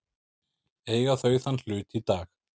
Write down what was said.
Eiga þau þann hlut í dag.